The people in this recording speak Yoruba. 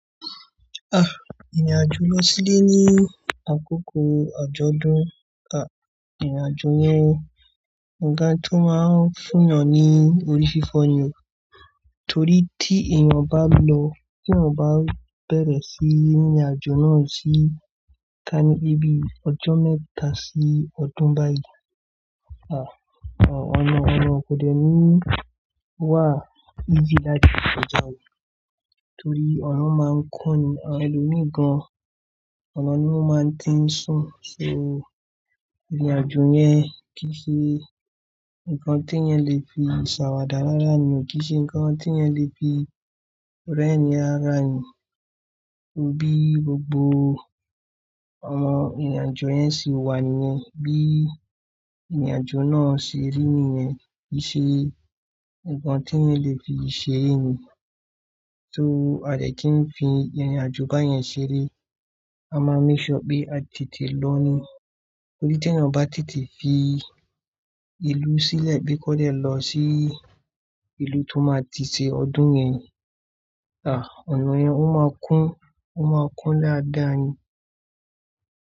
Ah! Ìrìnàjò lọ sílé ní àkókò àjọ̀dún, ah! Ìrìnàjò yẹn, ǹnkan tó máa ń fún yan ní orí fífọ́ ni o, torí tí èèyàn bá lọ, tí èèyàn bá bẹ̀rẹ̀ sí ìrìnàjò náà sí ká ní bí i ọjọ́ mẹ́ta sí ọdún báyìí, ah! Ọ̀nà, ọ̀nà kò dẹ́ni wà e sí láti jò yẹn, torí ọ̀nà máa ń kún ni, awon ẹlòmíìgan ọ̀nà ni ó máa ń tẹ́ ń sùn. So, ìrìnàjò yẹn kì í ṣe ǹnkan tí ẹ́ le fi ṣàwàdà rára ni o, kì í ṣe ǹnkan tí ẹ́ le fi rẹ́ni ara ni o, bí gbogbo o awọn ìrìnàjò yẹn ṣi wà ní yẹn, bí ìrìnàjò náà ṣe rí ni yẹn kì í ṣe ǹnkan tí ẹ́ le fi ṣeré ni. So, àdẹ́kí ń fi ìrìnàjò báyẹn ṣeré, a máa ń make sure pé a tètè lọ ni. Torí tí èèyàn bá tètè fi ìlú sílẹ̀ bí kò dẹ́ lọ sí ìlú tó máa ti ṣe ọdún yẹn ni, ah! Ọ̀nà yẹn ó máa kún, ó máa kún daádàá ni.